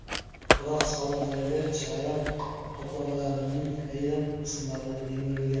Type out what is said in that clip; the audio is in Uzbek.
Biroq salondagi charm qoplamalarning ayrim qismlari yemirilgan.